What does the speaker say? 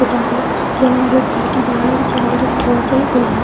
पुता हुआ है चैनल गेट बहोत ही बड़ा है। अभी चैनल गेट थोड़ा सा ही खुला है।